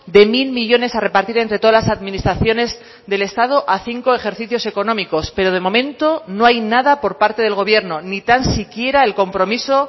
de mil millónes a repartir entre todas las administraciones del estado a cinco ejercicios económicos pero de momento no hay nada por parte del gobierno ni tan siquiera el compromiso